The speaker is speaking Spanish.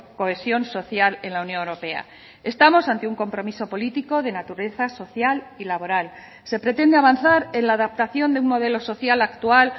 cohesión social en la unión europea estamos ante un compromiso político de naturaleza social y laboral se pretende avanzar en la adaptación de un modelo social actual